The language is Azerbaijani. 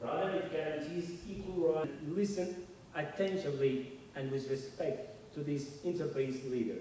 Əksinə, o, bərabər hüququ təmin edir, bu dinlərarası liderlərə diqqətlə və hörmətlə qulaq asın.